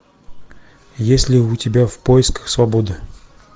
есть ли у тебя в поисках свободы